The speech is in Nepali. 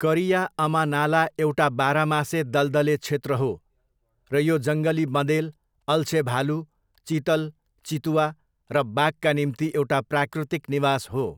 करिया अमा नाला एउटा बाह्रमासे दलदले क्षेत्र हो र यो जङ्गली बँदेल, अल्छे भालु, चितल, चितुवा र बाघका निम्ति एउटा प्राकृतिक निवास हो।